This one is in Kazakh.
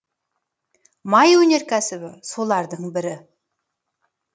май өнеркәсібі солардың бірі